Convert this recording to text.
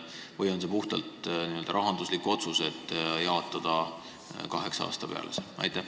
Kas see on puhtalt rahanduslik otsus, et ehitus jaotatakse kaheksa aasta peale?